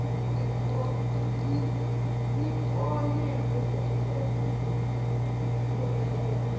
ni konevho u ṱuṱulea ni